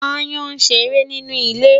Aáyán ń ṣeré nínú ilé.